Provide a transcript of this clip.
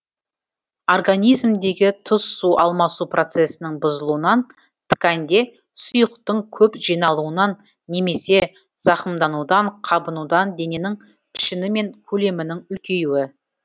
организмдегі тұз су алмасу процесінің бұзылуынан тканьде сұйықтың көп жиналуынан немесе зақымданудан қабынудан дененің пішіні мен көлемінің үлкеюі